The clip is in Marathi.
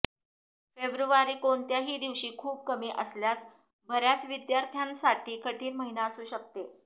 फेब्रुवारी कोणत्याही दिवशी खूप कमी असल्यास बर्याच विद्यार्थ्यांसाठी कठिण महिना असू शकते